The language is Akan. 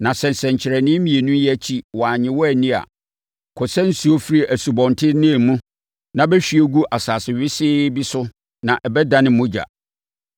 Na sɛ nsɛnkyerɛnneɛ mmienu yi akyiri wɔannye wo anni a, kɔsa nsuo firi Asubɔnten Nil mu na bɛhwie gu asase wesee bi so na ɛbɛdane mogya.”